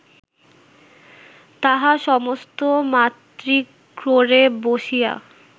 তাহা সমস্ত মাতৃক্রোড়ে বসিয়া